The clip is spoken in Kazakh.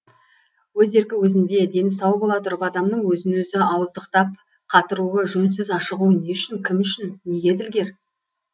өз еркі өзінде дені сау бола тұрып адамның өзін өзі ауыздықтап қатыруы жөнсіз ашығуы не үшін кім үшін неге ділгер